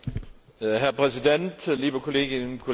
Herr Präsident, liebe Kolleginnen und Kollegen!